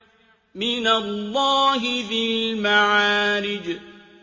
مِّنَ اللَّهِ ذِي الْمَعَارِجِ